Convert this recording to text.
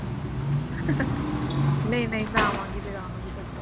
ਨਹੀਂ ਨਹੀਂ ਮੈਂ ਆਵਾ ਗੀ ਲਗਾਵਾਂ ਗਈ ਚੱਕਰ